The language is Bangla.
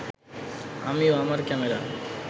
আমি ও আমার ক্যামেরা